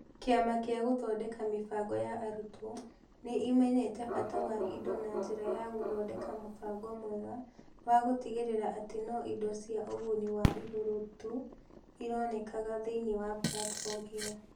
Kĩama gĩa Gũthondeka Mĩbango ya Arutwo nĩ ĩmenyete bata wa indo na njĩra ya gũthondeka mũbango mwega wa gũtigĩrĩra atĩ no indo cia ũguni wa igũrũ tu ironekaga thĩinĩ wa platform ĩyo.